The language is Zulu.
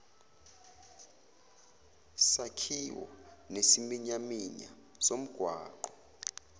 sakhiwo nesiminyaminya somgwaqo